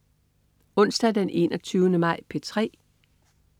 Onsdag den 21. maj - P3: